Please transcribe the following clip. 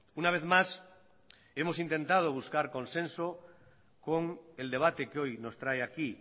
una vez más hemos intentado buscar consenso con el debate que hoy nos trae aquí